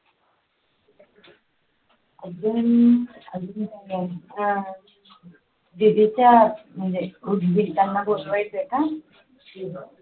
अजून